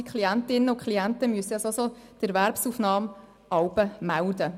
Die Klientinnen und Klienten müssen die Erwerbsaufnahme ohnehin jeweils melden.